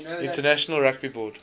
international rugby board